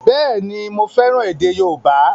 Bẹ́ẹ̀ni, mo fẹ́ràn èdè yóòbá